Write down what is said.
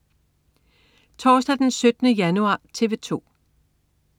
Torsdag den 17. januar - TV 2: